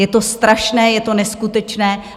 Je to strašné, je to neskutečné.